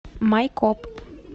майкоп